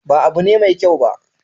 Ba abu ne mai kyau ba.